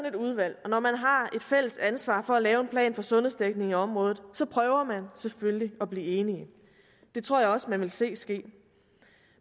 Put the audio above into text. et udvalg og når man har et fælles ansvar for at lave en plan for sundhedsdækningen i området prøver man selvfølgelig at blive enig det tror jeg også vi vil se ske